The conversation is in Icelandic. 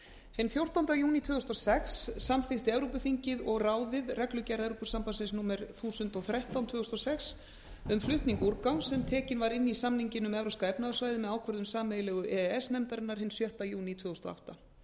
hinn fjórtánda júní tvö þúsund og sex samþykkti evrópuþingið og ráðið reglugerð evrópusambandsins númer eitt þúsund og þrettán tvö þúsund og sex um flutning úrgangs sem tekin var inn í samninginn um evrópska efnahagssvæðið með ákvörðun sameiginlegu e e s nefndarinnar hinn sjötta júní tvö þúsund og átta